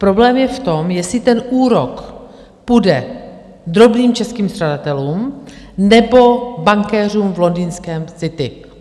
Problém je v tom, jestli ten úrok půjde drobným českým střadatelům, nebo bankéřům v londýnském City.